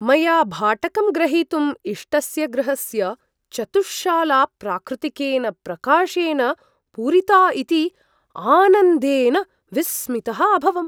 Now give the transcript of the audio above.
मया भाटकं ग्रहीतुं इष्टस्य गृहस्य चतुश्शाला प्राकृतिकेन प्रकाशेन पूरिता इति आनन्देन विस्मितः अभवम्।